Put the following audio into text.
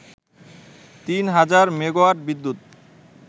তিন হাজার মেগাওয়াট বিদ্যুৎ